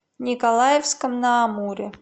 николаевском на амуре